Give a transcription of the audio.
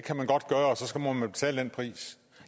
og så må man betale den pris